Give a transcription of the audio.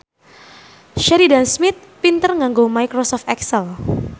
Sheridan Smith pinter nganggo microsoft excel